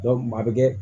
maa bɛ kɛ